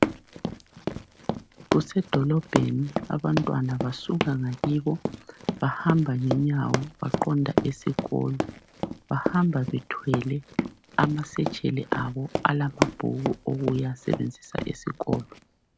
Kusedolobheni abantwana basuka ngakibo bahamba ngenyawo baqonda esikolo. Bahamba bethwele amasetsheli abo alamabhuku okuyasebenzisa esikolo.